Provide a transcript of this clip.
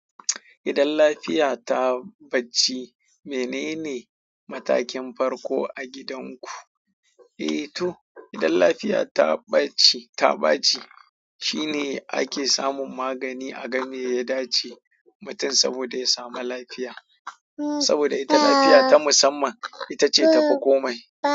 Idan lafiya ta ɓaci, menene matakin farko a gidanku? Eh to, idan lafiya ta ɓaci, ta ɓaci shine ake samun magani a game ya dace mutum saboda ya samu lafiya. Saboda ita lafiya ta musamman, ita ce ta fi komai.